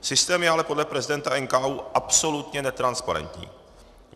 Systém je ale podle prezidenta NKÚ absolutně netransparentní.